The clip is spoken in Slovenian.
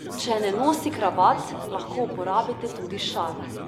Če ne nosi kravat, lahko uporabite tudi šal.